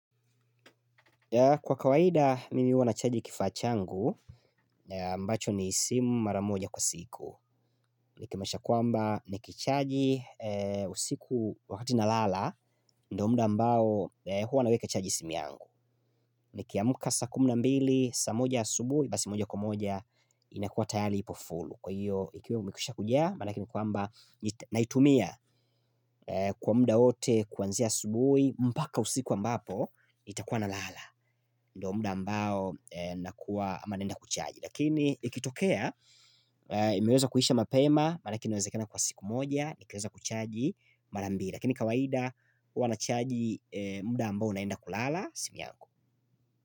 Kwa kawaida, mimi wana chaji kifachangu, mbacho ni simu maramoja kwa siku. Nikimasha kwamba, nikichaji usiku wakati na lala, ndo mda mbao huwa naweka chaji simi yangu. Nikiamuka sa kumna mbili, sa moja subui, basi moja kumoja, inakuwa tayali ipofulu. Kwa hiyo, ikiwe mbusha kujia, manakini kwamba, naitumia kwa mda ote kwanzia subui, mbaka usiku ambapo, itakuwa na lala. Ndwa muda ambao nakuwa manenda kuchaji Lakini ikitokea imeweza kuhisha mapema Malakini weze kena kwa siku moja Nikweza kuchaji marambi Lakini kawaida uanachaji muda ambao naenda kulala Simiangu.